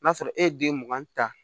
N'a sɔrɔ e ye den mugan ta